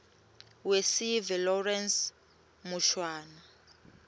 wesive lawrence mushwana